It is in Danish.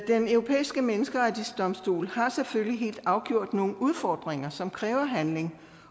den europæiske menneskerettighedsdomstol har selvfølgelig helt afgjort nogle udfordringer som kræver handling